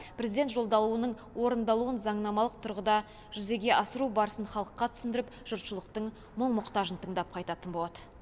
президент жолдауының орындалуын заңнамалық тұрғыда жүзеге асыру барысын халыққа түсіндіріп жұртшылықтың мұң мұқтажын тыңдап қайтатын болады